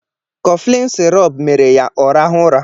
Kọflin sirọp mere ya ọ rahụ ụra.